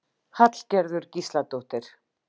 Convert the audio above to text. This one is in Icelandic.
Hallgerður Gísladóttir.